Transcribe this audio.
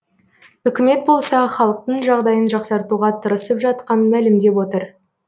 үкімет болса халықтың жағдайын жақсартуға тырысып жатқанын мәлімдеп отыр